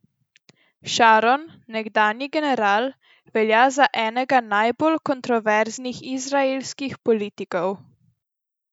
Šaron, nekdanji general, velja za enega najbolj kontroverznih izraelskih politikov.